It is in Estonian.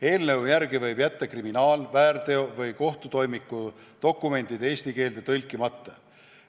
Eelnõu järgi võib jätta kriminaal-, väärteo- või kohtutoimiku dokumendid eesti keelde tõlkimata.